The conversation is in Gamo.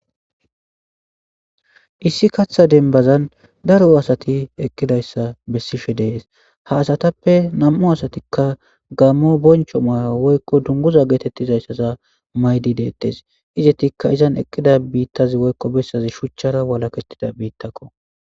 Issi katha denbazan daro asati eqqidayssa bessishe dees ha asatappe nam7u asatikka gammo boncho maya woykko dunguza geetettizayssaza maydi deettes izetikka izan eqqida biittazi woykko bessazi shuchchara walakettida biittakko.